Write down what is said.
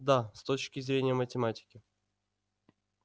да с точки зрения математики